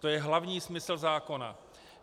To je hlavní smysl zákona.